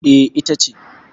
E, ita ce.